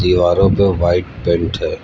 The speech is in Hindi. दीवारो पे वाइट पेंट है।